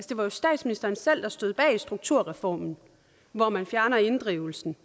det var jo statsministeren selv der stod bag strukturreformen hvor man fjernede inddrivelsen